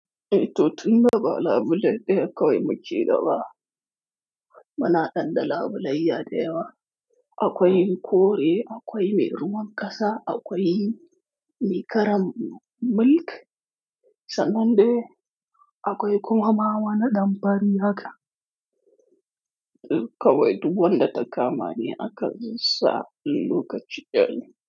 Eh to tun da ba labule ɗaya kawai muke da ba. Bana dan da labulayya da yawa. Akwai kore, akwai mai ruwan ƙasa, akwai mai karan milk sannan dai akwai kuma ma wani ɗan fari haka. Kawai duk wanda ta kamani aka zuba sa in lokaci ɗaya ne.